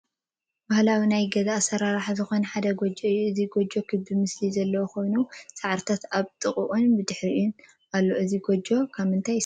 ባህላዊ ናይ ገዛ ኣስራርሓ ዝኮነ ሓድ ጎጆ እዩ ። እዚ ጎጆ ክቢ ምስሊ ዘለዎ ኮይኑ ሳዕርታት ኣብ ጥቅኦ ብድሕሪትን ኣሎ እዚ ጎጆ ካብ ምንታይ ይስራሕ ።